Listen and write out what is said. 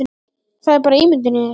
Það er bara ímyndun í þér!